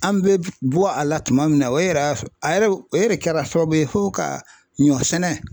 An bɛ bɔ a la tuma min na o yɛrɛ y'a sɔrɔ a yɛrɛ o yɛrɛ kɛra sababu ye fo ka ɲɔ sɛnɛ.